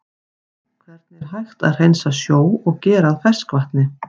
Hvernig er hægt að hreinsa sjó og gera að ferskvatni?